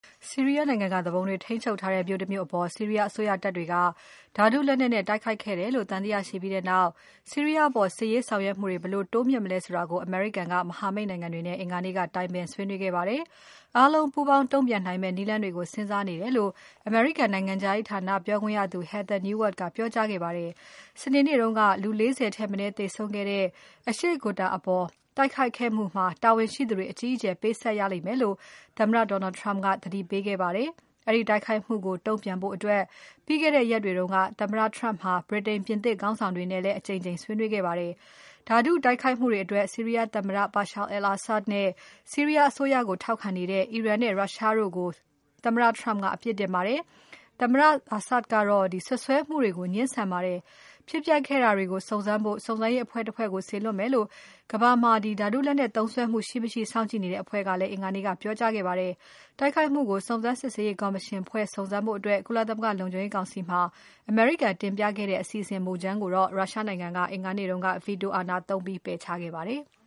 ဆီရီးယားနိုင်ငံက သူပုန်တွေထိန်းချုပ်ထားတဲ့ မြို့တမြို့အပေါ် ဆီးရီးယားအစိုးရတပ်တွေက ဓါတုလက်နက်နဲ့ တိုက်ခိုက်ခဲ့တယ်လို့ သံသယရှိပြီးနောက် ဆီးရီးယားအပေါ် စစ်ရေးဆောင်ရွက်မှုတွေကို ဘယ်လို တိုးမြှင့်လုပ်မလဲဆိုတာကို အမေရိကန်က မဟာမိတ်နိုင်ငံတွေနဲ့ အင်္ဂါနေ့က တိုင်ပင်ဆွေးနွေးခဲ့ပါတယ်။ အားလုံးပူးပေါင်းတုံ့ပြန်နိုင်မယ့် နည်းလမ်းတွေကို စဉ်းစားနေတယ်လို့ အမေရိကန်နိုင်ငံခြားရေးဌာန ပြောခွင့်ရသူ Heather Nauert ကပြောကြားခဲ့ပါတယ်။ စနေနေ့တုန်းက လူ ၄၀ ထက်မနည်းသေဆုံးခဲ့တဲ့ အရှေ့ Ghouta အပေါ် တိုက်ခိုက်ခိုက်မှုအတွက် တာဝန်ရှိသူတွေ အကြီးအကျယ်ပေးဆပ်ရလိမ့်မယ်လို့ သမ္မတ Donald Trump က သတိပေးခဲ့ပါတယ်။ အဲဒီတိုက်ခိုက်မှုကို တုံ့ပြန်ဖို့အတွက် ပြီးခဲ့တဲ့ရက်တွေက သမ္မတ Turmp ဟာ ဗြိတိန်၊ ပြင်သစ်ခေါင်းဆောင်တွေနဲ့ အကြိမ်ကြိမ် ဆွေးနွေးခဲ့ပါတယ်။ ဓါတုတိုက်ခိုက်မှုတွေအတွက် ဆီးရီးယားသမ္မတ Bashar al-Assad နဲ့ ဆီးရီးယားအစိုးရကို ထောက်ခံနေတဲ့ အီရန်နဲ့ ရုရှားတို့ကို သမ္မတ Trump ကအပြစ်တင်ခဲ့ပါတယ်။ သမ္မတ Assad ကတော့ စွပ်စွဲမှုတွေကို ငြင်းဆန်ပါတယ်။ ဖြစ်ပျက်ခဲ့တာတွေကို စုံစမ်းဖို့ စုံစမ်းရေးအဖွဲ့တဖွဲ့ကို စေလွှတ်မယ်လို့ ကမ္ဘာမှာ ဓါတုလက်နက်သုံးစွဲမှု ရှိမရှိ စောင့်ကြည့်နေတဲ့ အဖွဲ့က အင်္ဂါနေ့က ပြောကြားခဲ့ပါတယ်။ တိုက်ခိုက်မှုကို စုံစမ်းစစ်ဆေးရေး ကော်မရှင်ဖွဲ့ဖို့ ကုလသမဂ္ဂလုံခြုံရေးကောင်စီမှာ အမေရိကန်တင်ပြခဲ့တဲ့ အစီအစဉ်မူကြမ်းကို ရုရှားနိုင်ငံက အင်္ဂါနေ့က Veto အာဏာသုံးပယ်ချခဲ့ပါတယ်။